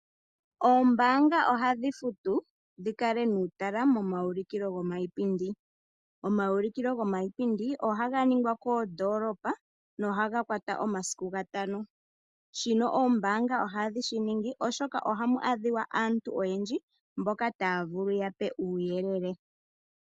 Oombaanga ohadhi futu dhi kale nuutala moma ulikilo giipindi. Omawulikilo giipindi oha ga ningwa koondoolopa na ohaga kwata omasiku ga tano. Shino oombaanga ohadhi shi ningi oshoka ohamu adhika aantu oyendji mboka taya vulu ye yape uuyelele.